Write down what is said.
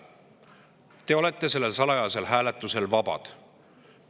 Te olete sellel salajasel hääletusel vabad.